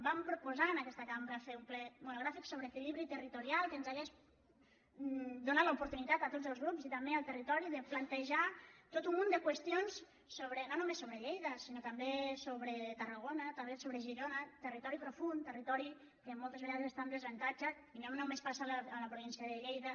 vam proposar en aquesta cambra fer un ple monogràfic sobre equilibri territorial que ens hauria donat l’opor·tunitat a tots els grups i també al territori de plantejar tot un munt de qüestions no només sobre lleida sinó també sobre tarragona també sobre girona territori profund territori que moltes vegades està en desavan·tatge i no només passa a la província de lleida